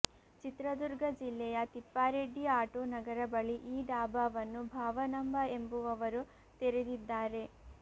ಚಿತ್ರದುರ್ಗ ಜಿಲ್ಲೆಯ ತಿಪ್ಪಾರೆಡ್ಡಿ ಆಟೋ ನಗರ ಬಳಿ ಈ ಡಾಬಾವನ್ನು ಭಾವನಮ್ಮ ಎಂಬುವವರು ತೆರೆದಿದ್ದಾರೆ